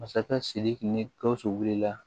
Masakɛ sidiki ni gawusu wulila